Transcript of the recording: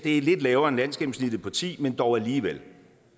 er lidt lavere end landsgennemsnittet på ti men dog alligevel